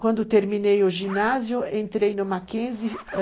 Quando terminei o ginásio, entrei no Mackenzie.